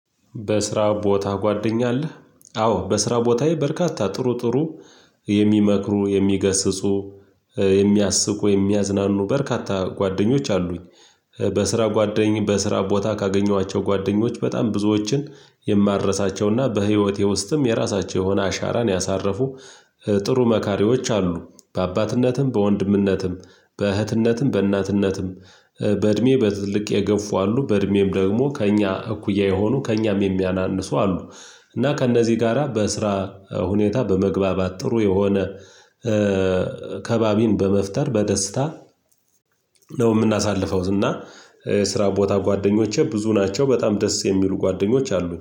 በስራ ቦታ ጓደኛ አለህ? አዎ በስራ ቦታዬ በርካታ ጥሩ ጥሩ የሚመክሩ የሚገስጹ የሚያስቁ የሚያዝናኑ በርካታ ጓደኞች አሉኝ። በስራ ጓደኝ በስራ ቦታ ካገኟቸው ጓደኞች በጣም ብዙዎችን የማረሳቸውና በህይወቴ ውስጥም የራሳቸው የሆነ አሻራን ያሳረፉ ጥሩ መካሪዎች አሉ። በአባትነትም በወንድምነትም በእህትነትም በእናትነትም በእድሜ በትልቅ የገፉ አሉ በእድሜም ደግሞ ከእኛ እኩያ የሆኑ ከእኛም የሚያናንሱ አሉ። እና ከእነዚህ ጋራ በስራ ሁኔታ በመግባባት ጥሩ የሆነ ከባቢን በመፍጠር በደስታ ነው የምናሳልፈው። እና ስራ ቦታ ጓደኞቼ ብዙ ናቸው በጣም ደስ የሚሉ ጓደኞች አሉ